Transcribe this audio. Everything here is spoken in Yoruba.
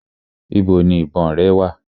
Ibo ni ìbọn rẹ wà?